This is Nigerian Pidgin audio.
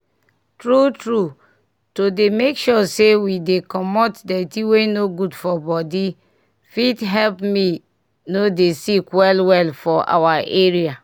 tru tru to dey make sure say we dey comot dirty wey no good for body fit help me no dey sick well well for our area